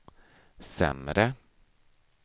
sämre